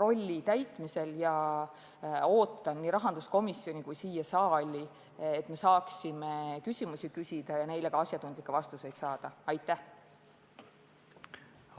rolli täitmisel ja ootan tema esindajaid nii rahanduskomisjoni kui ka siia saali, et me saaksime küsimusi küsida ja neile asjatundlikke vastuseid saada!